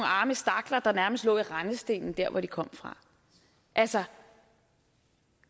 arme stakler der nærmest lå i rendestenen der hvor de kom fra altså